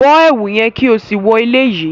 Bọ ẹwu yẹn ki o si wọ eleyi!